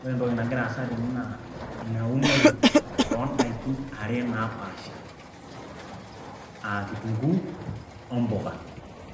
ore entoki nagira aasa tene naa ina unore oondaikin are napaasha aa kitunguu ompuka.